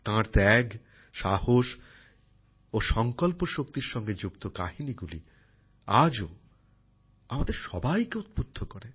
তাঁর ত্যাগ সাহস ও সংকল্পশক্তির সঙ্গে যুক্ত কাহিনীগুলি আজও আমাদের সবাইকে উদ্বুদ্ধ করে